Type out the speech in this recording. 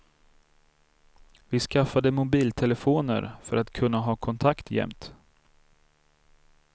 Vi skaffade mobiltelefoner för att kunna ha kontakt jämt.